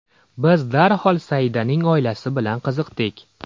Biz darhol Saidaning oilasi bilan qiziqdik.